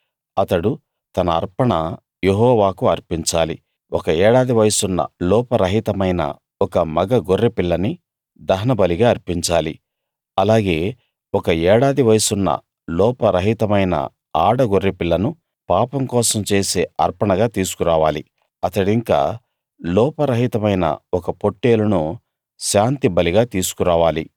అతడు తన అర్పణ యెహోవాకు అర్పించాలి ఒక ఏడాది వయసున్న లోపరహితమైన ఒక మగ గొర్రెపిల్లని దహనబలిగా అర్పించాలి అలాగే ఒక ఏడాది వయసున్న లోపరహితమైన ఆడ గొర్రెపిల్లను పాపం కోసం చేసే అర్పణగా తీసుకురావాలి అతడింకా లోపరహితమైన ఒక పొట్టేలును శాంతి బలిగా తీసుకురావాలి